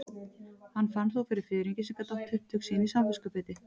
Hann fann þó fyrir fiðringi sem gat átt upptök sín í samviskubiti.